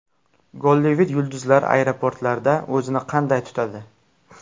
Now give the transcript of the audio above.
Gollivud yulduzlari aeroportlarda o‘zini qanday tutadi?